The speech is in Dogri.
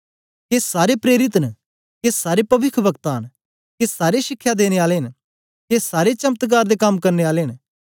के सारे प्रेरित न के सारे पविखवक्ता न के सारे शिखया देने आले न के सारे चमत्कार दे कम करने आले न